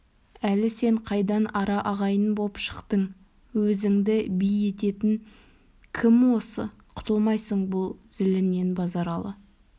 әлі сен қайдан ара ағайын боп шықтың өзіңді би ететін кім осы құтылмайсың бұл зілінен базаралы